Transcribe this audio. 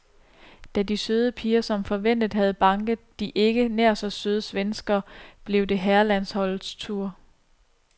Da de søde piger som forventet havde banket de ikke nær så søde svenskere, blev det herrelandsholdets tur.